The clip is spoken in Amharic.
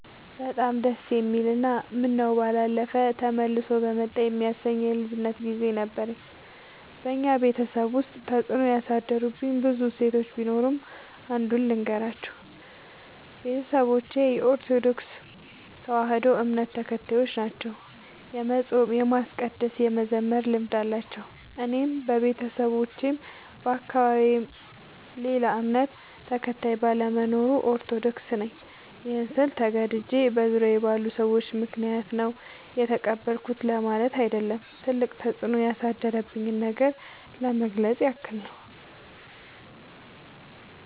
በጣም ደስ የሚል እና ምነው ባላለፈ ተመልሶ በመጣ የሚያሰኝ የልጅነት ግዜ ነበረኝ። በኛ ቤተሰብ ውስጥ ተፅዕኖ ያሳደሩብኝ ብዙ እሴቶች ቢኖሩም። አንዱን ልገራችሁ፦ ቤተሰቦቼ የኦርቶዶክስ ተዋህዶ እምነት ተከታዮች ናቸው። የመፃም የማስቀደስ የመዘመር ልምድ አላቸው። እኔም በቤተሰቤም በአካባቢዬም ሌላ እምነት ተከታይ ባለመኖሩ። ኦርቶዶክስ ነኝ ይህን ስል ተገድጄ በዙሪያዬ ባሉ ሰዎች ምክንያት ነው የተቀበልኩት ለማለት አይደለም ትልቅ ተፅኖ ያሳደረብኝን ነገር ለመግለፅ ያክል ነው።